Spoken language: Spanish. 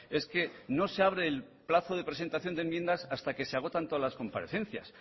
es que no se abre el plazo de presentación de enmiendas hasta que se agotan todas las comparecencias